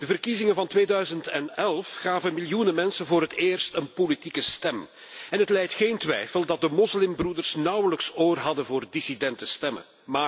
De verkiezingen van 2011 gaven miljoenen mensen voor het eerst een politieke stem en het lijdt geen twijfel dat de Moslimbroeders nauwelijks oor hadden voor dissidente stemmen.